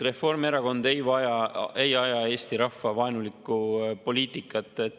Reformierakond ei aja eesti rahva vaenulikku poliitikat.